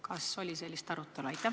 Kas selle üle oli arutelu?